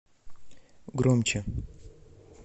громче